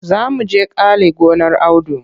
Za mu je kale gonar Audu.